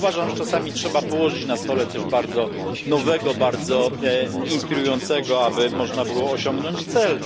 Ale uważam, że czasami trzeba położyć na stole coś bardzo nowego, bardzo inspirującego, aby można było osiągnąć cel.